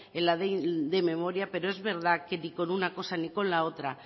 en la ley de memoria pero es verdad que ni con una cosa ni con otra